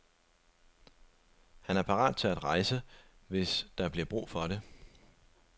Han er parat til at rejse, hvis der bliver brug for det.